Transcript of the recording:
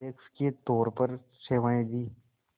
अध्यक्ष के तौर पर सेवाएं दीं